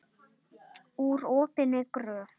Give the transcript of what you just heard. Úr opinni gröf.